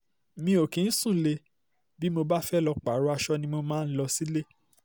mi ò kì ń um sùnlẹ̀ bí mo bá fẹ́ẹ́ lọ́ọ́ um pààrọ̀ aṣọ ni mo máa ń lọ sílé